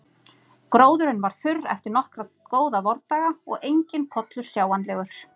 Gróðurinn var þurr eftir nokkra góða vordaga og enginn pollur sjáanlegur.